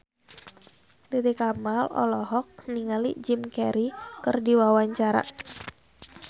Titi Kamal olohok ningali Jim Carey keur diwawancara